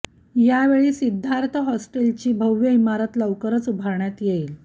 यावेळी सिद्धार्थ हॉस्टेल ची भव्य इमारत लवकरच उभारण्यात येईल